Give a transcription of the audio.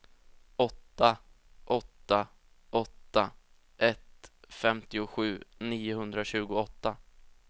åtta åtta åtta ett femtiosju niohundratjugoåtta